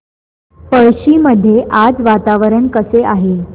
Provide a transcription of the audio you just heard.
पळशी मध्ये आज वातावरण कसे आहे